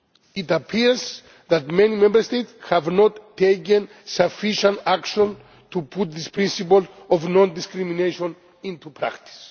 It appears that many Member States have not taken sufficient action to put this principle of non discrimination into practice.